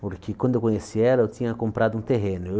Porque quando eu conheci ela, eu tinha comprado um terreno.